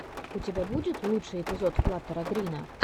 у тебя будет лучший эпизод флаттера грина